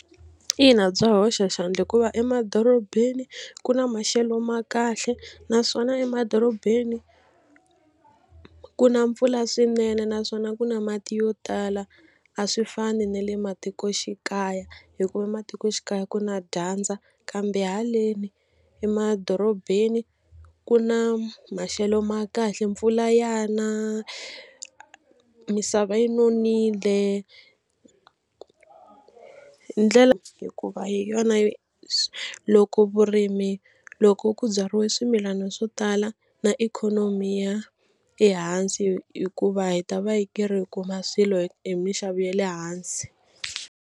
Ina bya hoxa xandla hikuva emadorobeni ku na maxelo ma kahle naswona emadorobeni ku na mpfula swinene naswona ku na mati yo tala a swi fani na le matikoxikaya hikuva matikoxikaya ku na dyandza kambe haleni emadorobeni ku na maxelo ma kahle mpfula ya na misava yi nonile hikuva hi yona loko vurimi loko ku byariwe swimilana swo tala na ikhonomi yi ya ehansi hikuva hi ta va yi karhi hi kuma swilo hi mixavo ya le hansi.